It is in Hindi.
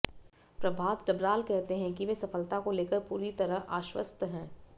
प्रभात डबराल कहते हैं कि वे सफलता को लेकर पूरी तरह आश्वस्त हैं